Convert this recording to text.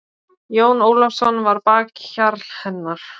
Jón Ólafsson var bakhjarl hennar.